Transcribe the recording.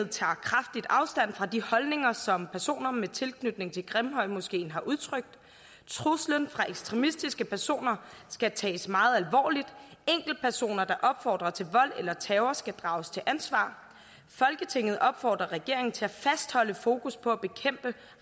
tager kraftigt afstand fra de holdninger som personer med tilknytning til grimhøjmoskeen har udtrykt truslen fra ekstremistiske personer skal tages meget alvorligt enkeltpersoner der opfordrer til vold eller terror skal drages til ansvar folketinget opfordrer regeringen til at fastholde fokus på at bekæmpe